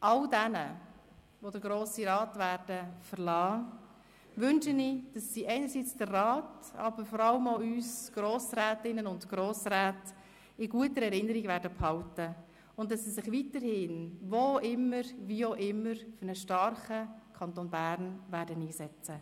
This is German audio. All jenen, die den Grossen Rat verlassen werden, wünsche ich, dass sie einerseits den Rat, aber vor allem auch uns Grossrätinnen und Grossräte in guter Erinnerung behalten und dass sie sich andererseits weiterhin, wo auch immer, wie auch immer für einen starken Kanton Bern einsetzen werden.